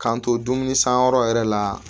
K'an to dumuni sanyɔrɔ yɛrɛ la